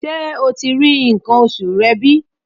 Ṣé o ti rí nǹkan oṣù rẹ bí?